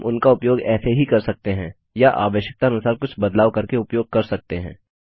हम उनका उपयोग ऐसे ही कर सकते हैं या आवश्यकता अनुसार कुछ बदलाव करके उपयोग कर सकते हैं